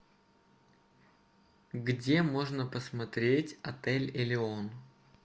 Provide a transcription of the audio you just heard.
где можно посмотреть отель элеон